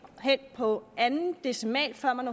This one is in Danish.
hen på anden decimal før man